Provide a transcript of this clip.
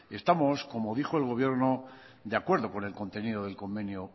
estamos como dijo el gobierno de acuerdo con el contenido del convenio